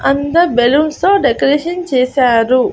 అంతా బెలూన్స్ తో డెకరేషన్ చేశారు.